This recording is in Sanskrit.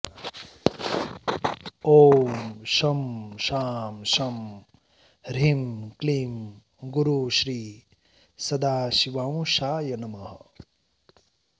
ॐ शं शां षं ह्रीं क्लीं गुरुश्री सदाशिवांशाय नमः